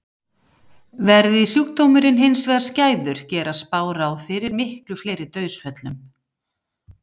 Verði sjúkdómurinn hins vegar skæður gera spár ráð fyrir miklu fleiri dauðsföllum.